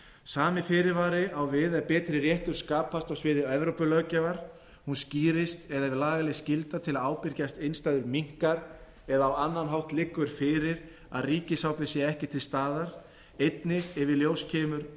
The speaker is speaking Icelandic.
sami fyrirvari á við ef betri réttur skapast á sviði evrópulöggjafar hún skýrist eða ef lagaleg skylda til að ábyrgjast innstæður minnkar eða á annan hátt liggur fyrir að ríkisábyrgð sé ekki til staðar einnig ef í ljós kemur að